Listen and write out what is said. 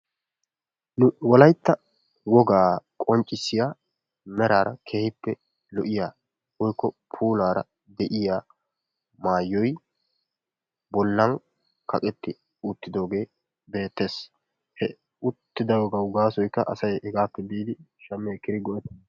Wolaytta wogaa qonccissiya meraara keehippe lo"iya woykko puulaara de'iya maayoy bollan kaqetti uttidoogee beettees. He uttidaagawu gaasoykka asay hegaappe biidi shammi ekkidi go'wttanaassa.